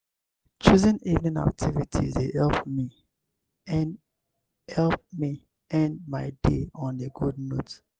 choosing evening activities dey help me end help me end my day on a good note.